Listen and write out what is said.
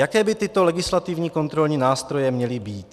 Jaké by tyto legislativní kontrolní nástroje měly být?